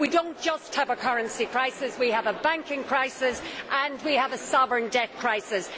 We do not just have a currency crisis we have a banking crisis and we have a sovereign debt crisis.